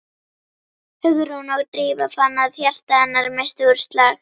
Hugrún og Drífa fann að hjarta hennar missti úr slag.